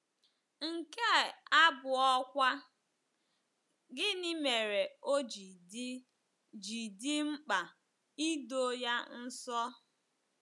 Nke abụọkwa, gịnị mere o ji dị ji dị mkpa ị doo ya nsọ?